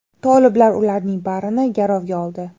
Toliblar ularning barini garovga oldi.